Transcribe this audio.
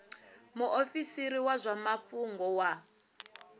muofisiri wa zwa mafhungo wa